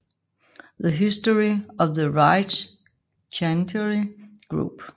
The History of the Reich Chancellery Group